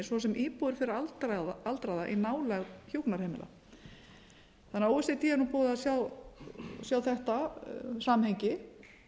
svo sem íbúðir fyrir aldraða í nálægð hjúkrunarheimila þannig að o e c d er nú búið að sjá þetta samhengi